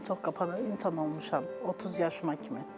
Özümə çox qapalı insan olmuşam 30 yaşıma kimi.